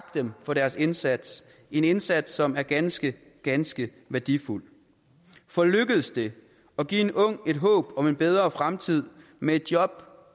dem for deres indsats en indsats som er ganske ganske værdifuld for lykkes det at give en ung et håb om en bedre fremtid med et job